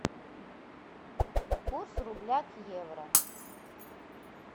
курс рубля к евро